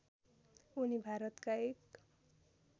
उनी भारतका एक